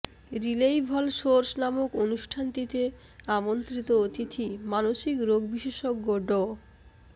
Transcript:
রিলেইভল source নামক অনুষ্ঠানটিতে আমন্ত্রিত অতিথি মানসিক রোগ বিশেষজ্ঞ ড